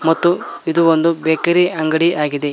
ಮತ್ತು ಇದು ಒಂದು ಬೇಕರಿ ಅಂಗಡಿ ಆಗಿದೆ.